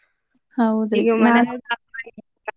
ಹೌದ್ರಿ .